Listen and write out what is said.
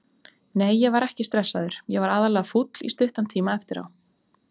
Nei ég var ekki stressaður, ég var aðallega fúll í stuttan tíma eftir á.